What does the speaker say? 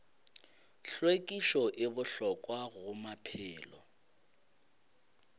hlwekišo e bohlokwa go maphelo